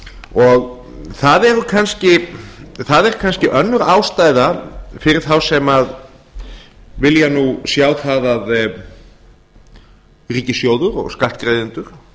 og það er kannski önnur ástæða fyrir þá sem vilja sjá það að ríkissjóður og skattgreiðendur